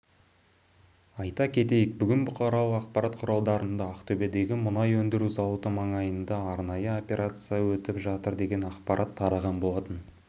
айта кетейік бүгін бұқаралық ақпарат құралдарында ақтөбедегі мұнай өндіру зауыты маңайында арнайы операция өтіп жатыр деген ақпарат тараған болатын